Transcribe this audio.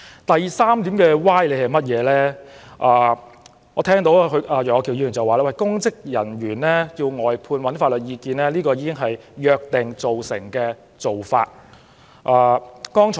至於第三個歪理，我聽到楊岳橋議員指出，涉及公職人員的案件須尋求外間法律意見，這已是約定俗成的做法。